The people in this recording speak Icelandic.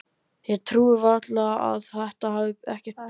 Ég trúi því varla að þetta hafi ekkert breyst?